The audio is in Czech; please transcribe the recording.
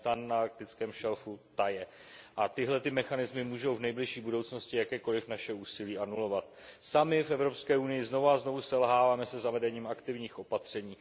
Metan na arktickém šelfu taje a tyto mechanismy mohou v nejbližší budoucnosti jakékoliv naše úsilí anulovat. Sami v Evropské unii znovu a znovu selháváme se zavedením aktivních opatření.